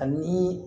Ani